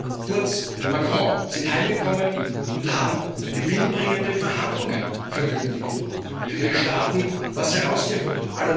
Merkel, Kurz, Macron sind heimgekommen und haben gewinnbringende Verhandlungen verkündigt, für ihre Staaten etwas herausgeholt.